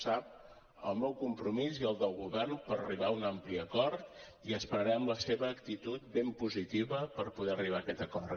sap el meu compromís i el del govern per arribar a un ampli acord i esperarem la seva actitud ben positiva per poder arribar a aquest acord